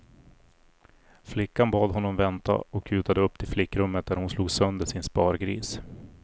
Flickan bad honom vänta och kutade upp till flickrummet där hon slog sönder sin spargris.